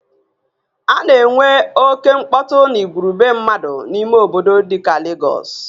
A na enwe oke mkpọtụ na igwurube mmadụ n'ime obodo dika Legọs